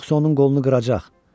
Yoxsa onun qolunu qıracaq.